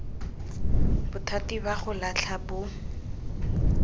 bothati ba go latlha bo